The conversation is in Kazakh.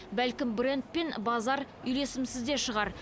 бәлкім брэнд пен базар үйлесімсіз де шығар